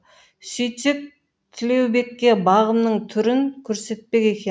сөйтсек тілеубекке бағымның түрін көрсетпек екен